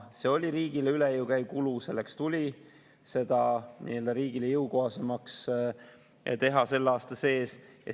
See oli riigile üle jõu käiv kulu, selleks tuli seda riigile jõukohasemaks teha selle aasta sees.